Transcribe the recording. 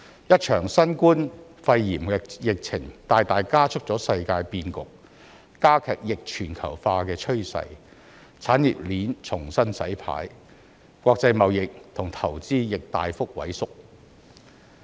一場新冠肺炎疫情大大加速了世界變局，加劇逆全球化的趨勢，產業鏈重新洗牌，國際貿易和投資亦大幅萎縮。